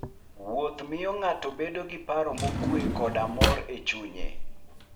Wuoth miyo ng'ato bedo gi paro mokuwe koda mor e chunye.